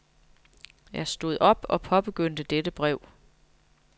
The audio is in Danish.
Jeg stod op og påbegyndte dette brev.